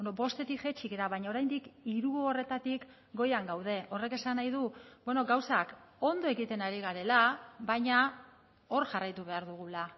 bostetik jaitsi gara baina oraindik hiru horretatik goian gaude horrek esan nahi du gauzak ondo egiten ari garela baina hor jarraitu behar dugula